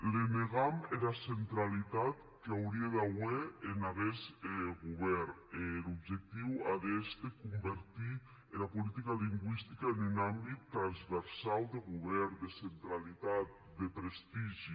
le negam era centralitat qu’aurie d’auer en aguest govèrn e er objectiu a d’èster convertir era politica lingüistica en un àmbit transversau de govèrn de centralitat de prestigi